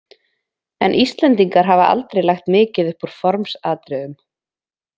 En Íslendingar hafa aldrei lagt mikið upp úr formsatriðum.